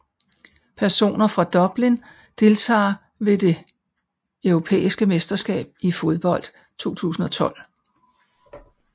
Personer fra Dublin Deltagere ved det europæiske mesterskab i fodbold 2012